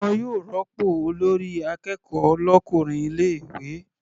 Wọn yóò rópò olórí akẹ́kọ̀ọ́ l'ọkùnrin ilé ìwé.